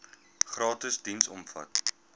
gratis diens omvat